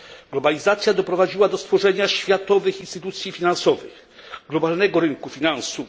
Globalizacja doprowadziła do stworzenia światowych instytucji finansowych, globalnego rynku finansów.